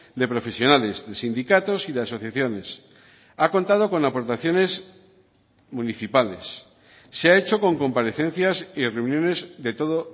de profesionales de sindicatos y de asociaciones ha contado con aportaciones municipales se ha hecho con comparecencias y reuniones de todo